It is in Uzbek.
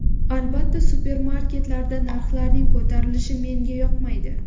Albatta supermarketlarda narxlarning ko‘tarilishi menga yoqmaydi.